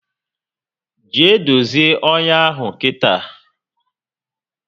Jee dozie ọnyá ahụ kita!